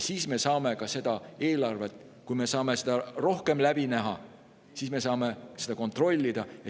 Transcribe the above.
Kui me saame seda eelarvet rohkem läbi näha, siis me saame seda kontrollida.